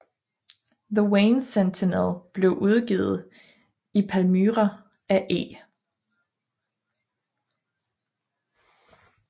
The Wayne Sentinel blev udgivet i Palmyra af E